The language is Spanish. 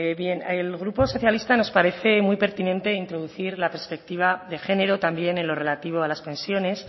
bien al grupo socialista nos parece muy pertinente introducir la perspectiva de género también en lo relativo a las pensiones